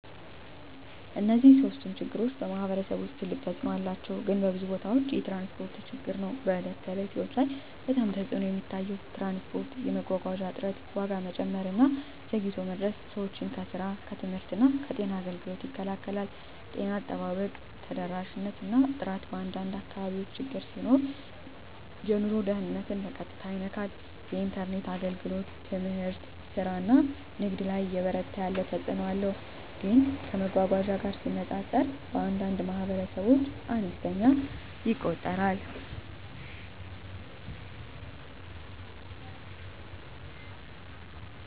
እነዚህ ሶስቱም ችግሮች በማኅበረሰብ ውስጥ ትልቅ ተፅእኖ አላቸው፣ ግን በብዙ ቦታዎች የትራንስፖርት ችግር ነው በዕለት ተዕለት ሕይወት ላይ በጣም ተፅዕኖ የሚታየው። ትራንስፖርት የመጓጓዣ እጥረት፣ ዋጋ መጨመር እና ዘግይቶ መድረስ ሰዎችን ከስራ፣ ከትምህርት እና ከጤና አገልግሎት ይከላከላል። ጤና አጠባበቅ ተደራሽነት እና ጥራት በአንዳንድ አካባቢዎች ችግር ሲሆን የኑሮ ደህንነትን በቀጥታ ይነካል። የኢንተርኔት አገልግሎት ትምህርት፣ ስራ እና ንግድ ላይ እየበረታ ያለ ተፅእኖ አለው፣ ግን ከመጓጓዣ ጋር ሲነጻጸር በአንዳንድ ማኅበረሰቦች አነስተኛ ይቆጠራል።